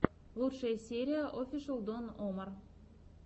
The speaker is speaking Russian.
лучшая серия офишел дон омар